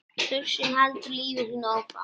Þursinn heldur lífi sínu áfram.